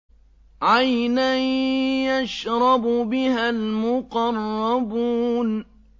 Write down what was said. عَيْنًا يَشْرَبُ بِهَا الْمُقَرَّبُونَ